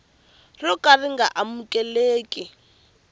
ro ka ri nga amukeleki